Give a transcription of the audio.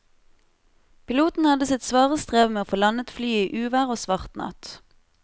Piloten hadde sitt svare strev med å få landet flyet i uvær og svart natt.